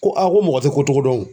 Ko a ko mɔgɔ tɛ ko cogo dɔn.